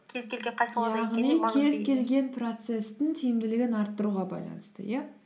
кез келген қай салада яғни кез келген процесстің тиімділігін арттыруға байланысты иә